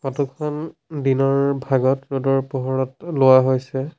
Photo খন দিনৰ ভাগত ৰদৰ পোহৰত লোৱা হৈছে।